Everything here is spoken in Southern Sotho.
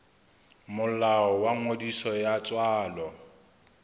molao wa ngodiso ya tswalo